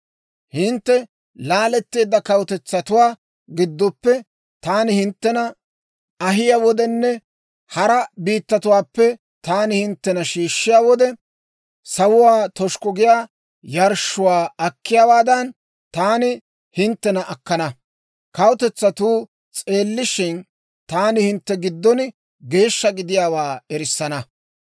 Hintte laaletteedda kawutetsatuwaa giddoppe taani hinttena ahiyaa wodenne hara biittatuwaappe taani hinttena shiishshiyaa wode, sawuwaa toshukku giyaa yarshshuwaa akkiyaawaadan, taani hinttena akkana. Kawutetsatuu s'eellishshin, taani hintte giddon geeshsha gidiyaawaa erissana.